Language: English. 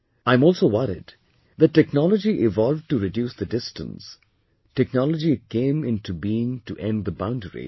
I am also worried that technology evolved to reduce the distance, technology came in to being to end the boundaries